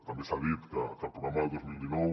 també s’ha dit que el programa del dos mil dinou